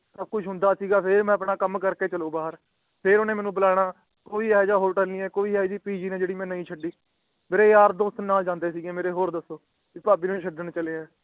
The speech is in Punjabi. ਸਬ ਕੁਛ ਹੁੰਦਾ ਸੀਗਾ ਤੇ ਮਈ ਆਪਣਾ ਕਾਮ ਕਰਕੇ ਚਾਲੂ ਬਾਹਰ ਫੇਰ ਓਹਨੇ ਬੁਲਾਣਾ ਕੋਈ ਆਹੂ ਜਿਯਾ ਹੋਟਲ ਨੀ ਕੋਈ ਏਹੋ ਜਿਯਾ ਨੀ ਜੇਦੀ ਮੈਂ ਛਾਡਿ ਹੁਵੇ ਮੇਰੇ ਯਾਰ ਦੋਸਤ ਨਾਲ ਜਾਂਦੇ ਸੀਗੇ ਮੇਰੇ ਹੋਰ ਦੱਸੋ ਭੀ ਭਾਭੀ ਨੂੰ ਛੱਡਣ ਚੱਲੇ ਆ